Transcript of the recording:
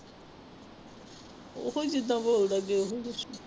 ਉਹੀ ਜਿੱਦਾਂ ਬੋਲਦਾਂ ਅੱਗੇ ਉਹੀ ਕੁਛ।